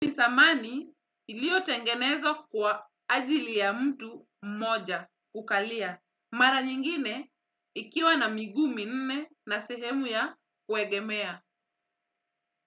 Nisamani ilio tengenezwa kwa ajili ya mtu mmoja kukalia mara nyingine ikiwa na miguu minne na sehemu ya kuegemea.